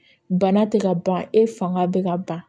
Bana tɛ ka ban e fanga bɛ ka ban